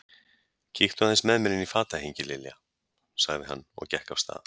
Kíktu aðeins með mér inn í fatahengi, Lilja sagði hann og gekk af stað.